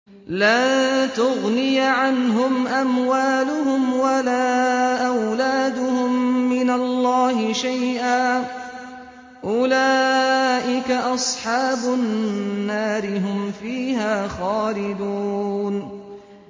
لَّن تُغْنِيَ عَنْهُمْ أَمْوَالُهُمْ وَلَا أَوْلَادُهُم مِّنَ اللَّهِ شَيْئًا ۚ أُولَٰئِكَ أَصْحَابُ النَّارِ ۖ هُمْ فِيهَا خَالِدُونَ